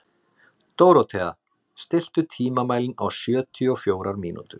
Dórothea, stilltu tímamælinn á sjötíu og fjórar mínútur.